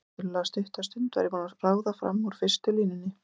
Eftir tiltölulega stutta stund var ég búin að ráða fram úr fyrstu línunni.